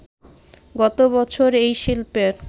গতবছর এই শিল্পের